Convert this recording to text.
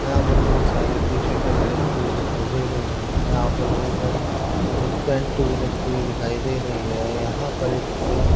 यहां पर बहुत सारी टी-शर्ट भी रखी हुई दिखाई दे रहे हैं यहां पर बहोत सारी पैंट भी रखी हुई दिखाई दे रही है यहां पर एक पुतला --